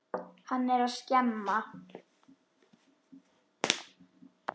Hann er að skemma.